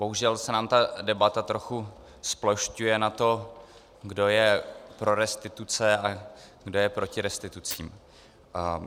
Bohužel se nám ta debata trochu zplošťuje na to, kdo je pro restituce a kdo je proti restitucím.